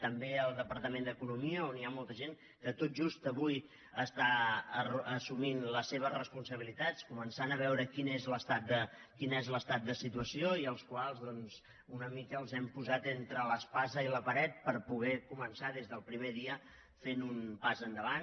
també al departament d’economia on hi ha molta gent que tot just avui està assumint les seves responsabilitats començant a veure quin és l’estat de situació i als quals doncs una mica els hem posat entre l’espasa i la paret per poder començar des del primer dia fent un pas endavant